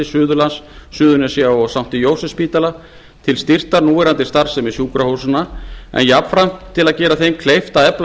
suðurlands heilbrigðisstofnunar suðurnesja og st jósefsspítala til styrktar núverandi starfsemi sjúkrahúsanna en jafnframt til að gera þeim kleift að efla